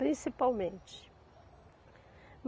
Principalmente.